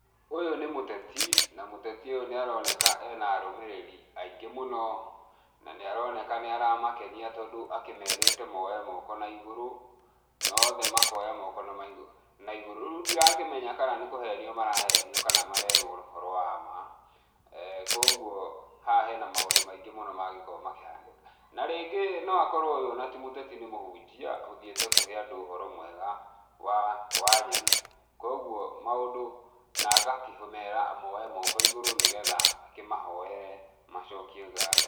Ũyũ nĩ mũteti na mũteti ũyũ nĩ aroneka ena arũmĩrĩri aingĩ mũno, na nĩaroneka nĩ aramakenia tondũ akĩmerĩte moe moko naigũrũ na othe makoya moko naigũrũ. Rĩu ndĩrakĩmenya kana nĩ kũhenio marahenio kana marerwo ũhoro wa ma, kogwo haha hena maũndũ maingĩ mũno mangĩkorwo makĩhanĩka. Na rĩngĩ no akorwo ũyũ ona ti mũteti nĩ mũhunjia ũthiĩte kũhe andũ ũhoro mwega wa wa nyene, kogwo maũndũ na agakĩmera moe moko igũrũ nĩgetha akĩmahoere macokie ngatho.